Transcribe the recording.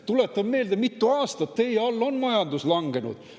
Tuletan meelde, mitu aastat teie all on majandus langenud.